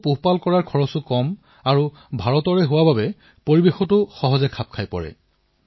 ইহঁতক পালন কৰাৰ খৰচো কম আৰু ভাৰতীয় পৰিবেশত মিলিও পৰে